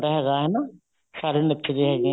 ਹੈਗਾ ਹਨਾ ਸਾਰੇ ਨੱਚਦੇ ਹੈਗੇ